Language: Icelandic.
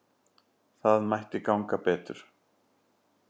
Það mætti ganga betur.